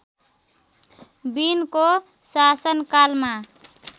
विनको शासनकालमा